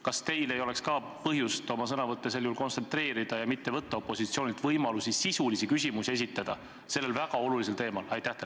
Kas ka teil ei oleks põhjust oma sõnavõtte kontsentreerida ja mitte võtta opositsioonilt võimalusi sellel väga olulisel teemal sisulisi küsimusi esitada?